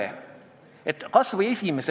Mulle tundub, et ka sellega me olime nõus.